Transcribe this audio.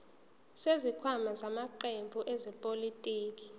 zesikhwama samaqembu ezepolitiki